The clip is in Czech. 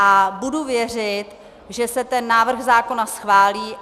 A budu věřit, že se ten návrh zákona schválí.